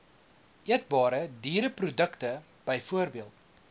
eetbare diereprodukte bv